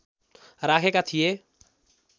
राखेका थिए